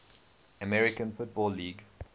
american football league